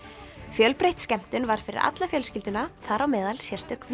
fjölbreytt skemmtun var fyrir alla fjölskylduna þar á meðal sérstök